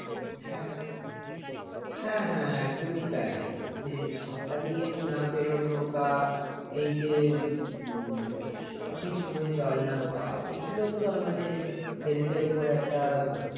হ্যাঁ হ্যাঁ একদমই তাই। মানে ছাতা নিয়ে না বেরোনো বা এই যে উম সঠিক সময়ে জল না খাওয়া এগুলো তো আমাদের health এর উপর একটা